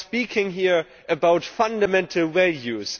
We are speaking here about fundamental values.